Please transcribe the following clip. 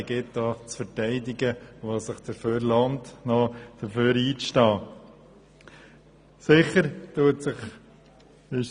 Sie gilt es zu verteidigen, und es lohnt sich auch, für sie einzustehen.